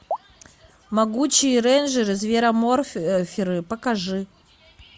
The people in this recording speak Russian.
могучие рейнджеры звероморферы покажи